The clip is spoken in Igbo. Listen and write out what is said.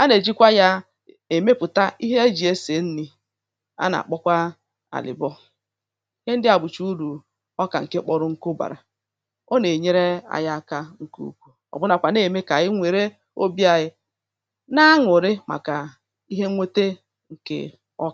a nà-èjikwa ya èmepùta ihe ejì e sì e nri̇ a nà-àkpọkwa àlịbọ ihe ndị à gbùchè urù ọ kà ǹke kpọrọ nkụ bàrà ọ nà-ènyere aya aka ǹkùù ọ̀bụnàkwà na-ème kà e nwère obi̇ anyị ǹ